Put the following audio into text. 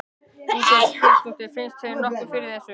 Ingveldur Geirsdóttir: Finna þeir nokkuð fyrir þessu?